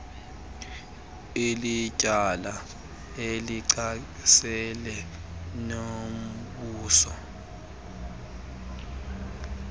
ilityala elichasene nombuso